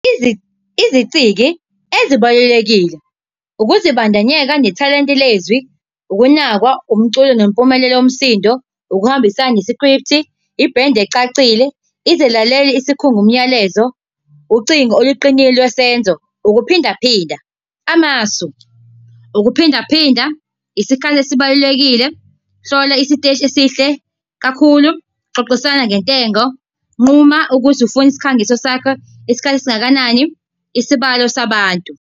Iziciki ezibalulekile ukuzibandanyeka nethalente lezwi, ukunakwa, umculo nempumelelo yomsindo. Ukuhambisana nesikriphthi, ibhendi ecacile, izelaleli, isikhungo, umyalezo, ucingo oluqinile lwesenzo. Ukuphindaphinda amasu, ukuphindaphinda, isikali esibalulekile. Hlola isiteshi esihle kakhulu, xoxisana ngentengo, nquma ukuthi ufuna isikhangiso sakho isikhathi esingakanani. Isibalo sabantu.